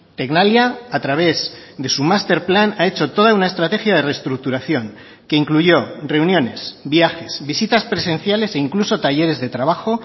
tecnalia a través de su masterplan ha hecho toda una estrategia de reestructuración que incluyó reuniones viajes visitas presenciales e incluso talleres de trabajo